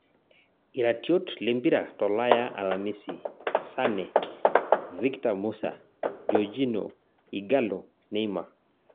Iratiot lempira tolaya alamisi: Sane, Victor musa, JORGINHO, Ighalo, Neymar